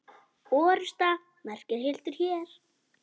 Orrusta merkir hildur hér.